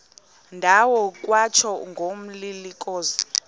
ndawo kwatsho ngomlilokazi